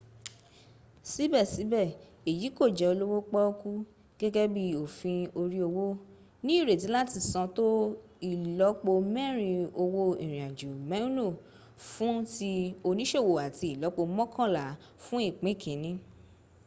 síbèsíbè èyí kò jẹ olówó póókú gẹ́gẹ́ bí òfin oríowó ní ìrètí làti san tó ìlọ́pó mẹrin ówó ìrinàjò mèúnù fún ti onísòwò áti ìlọ́po mọ́kànlá fún ìpín kínní